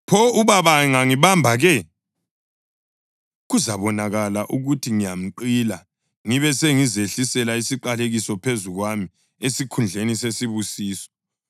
Pho ubaba angangibamba ke? Kuzabonakala ukuthi ngiyamqila ngibe sengizehlisele isiqalekiso phezu kwami esikhundleni sesibusiso.”